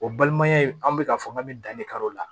O balimaya in an bɛ k'a fɔ k'an bɛ danni k'a la